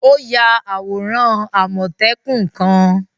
O yà awóran àmọtẹ́kùn kan